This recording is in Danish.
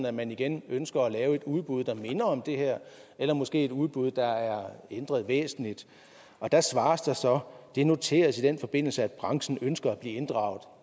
at man igen ønsker at lave et udbud der minder om det her eller måske et udbud der er ændret væsentligt der svares der så det noteres i den forbindelse at branchen ønsker at blive inddraget